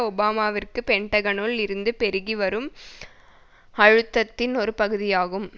ஒபாமாவிற்கு பென்டகனுக்குள் இருந்து பெருகி வரும் அழுத்தத்தின் ஒரு பகுதியாகும்